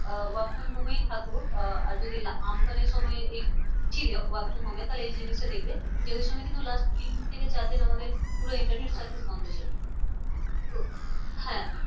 Ah work from home এই থাকো আহ আর যদি আম্ফানের সময়ে এই ছিলে work from home এ তাহলে এই জিনিসটা দেখবে। যে ওই সময় কিন্তু last তিন থেকে চারদিন আমাদের পুরো internet service বন্ধ ছিল। তো হ্যাঁ